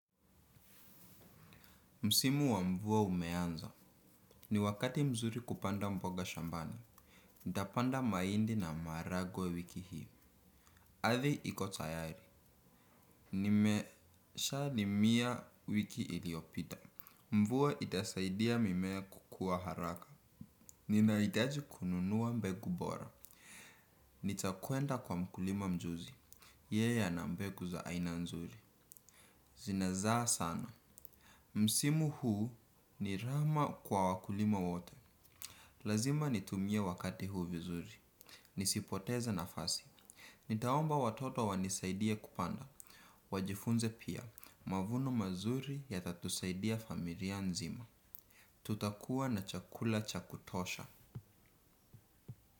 Msimu wa mvua umeanza. Ni wakati mzuri kupanda mboga shambani. Nitapanda mahindi na maharagwe wiki hii. Ardhi iko tayari. Nimeshalimia wiki iliyopita. Mvua itasaidia mimea kukuwa haraka. Ninahitaji kununua mbegu bora. Nitakwenda kwa mkulima mjuzi. Yeya ana mbegu za aina nzuri. Zinazaa sana. Msimu huu ni rama kwa wakulima wote. Lazima nitumie wakati huu vizuri. Nisipoteze nafasi. Nitaomba watoto wanisaidie kupanda. Wajifunze pia, mavuno mazuri yatatusaidia familia nzima. Tutakuwa na chakula cha kutosha.